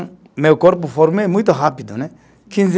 Meu corpo formou muito rápido, né? Quinze